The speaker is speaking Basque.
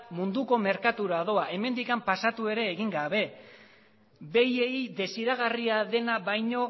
munduko merkatura doa hemendik pasatu ere egin gabe behiei desiragarria dena baino